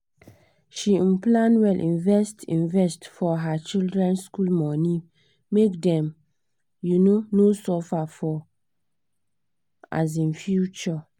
she um plan well invest invest for her children school money make dem um no suffer for um future